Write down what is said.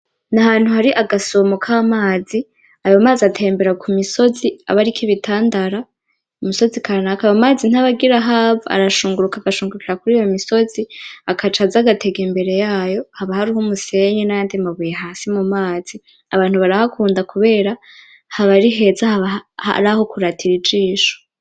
N'ahantu hari agasumo k'amazi, ayo mazi atembera ku misozi abariko ibitandara, ku misozi kanaka. Ayo mazi ntaba agira ahava, arashunguruka agashungurukira kuriyo misozi agaca aza agatega imbere yayo, haba hariho umusenyi n'ayandi mabuye hasi mu mazi, abantu barahakunda kubera haba ari heza, hab'araho kuratira ijisho.